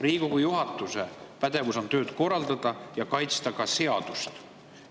Riigikogu juhatuse pädevus on tööd korraldada ja ka seadust kaitsta.